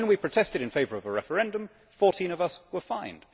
But when we protested in favour of a referendum, 14 of us were fined.